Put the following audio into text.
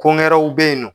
Ko wɛrɛw bɛ yen nɔ